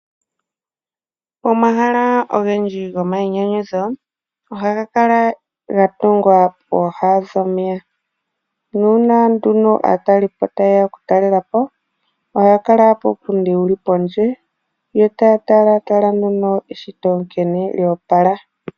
Omahala ogendji gomainyanyudho ,ohaga kala ga tungwa pooha dhomeya, nuuna nduno aatalelipo ta yeya oku talela po, ohaya kala puupundi wuli pondje, yo taya talataala nduno eshito nkene lyoopala.